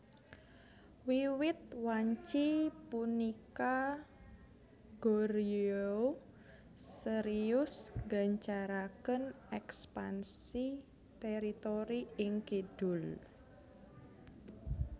Wiwit wanci punika Goryeo serius gancaraken ekpansi teritori ing kidul